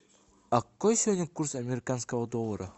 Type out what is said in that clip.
а какой сегодня курс американского доллара